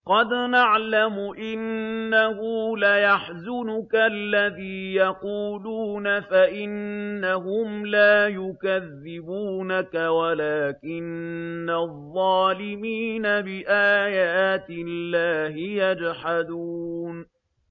قَدْ نَعْلَمُ إِنَّهُ لَيَحْزُنُكَ الَّذِي يَقُولُونَ ۖ فَإِنَّهُمْ لَا يُكَذِّبُونَكَ وَلَٰكِنَّ الظَّالِمِينَ بِآيَاتِ اللَّهِ يَجْحَدُونَ